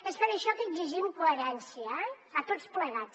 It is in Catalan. és per això que exigim coherència eh a tots plegats